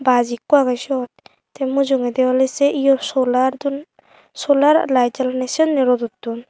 baaj ikko agey syot tey mujungedi oley sei ye solar don solar layet jalanney sennye rodot don.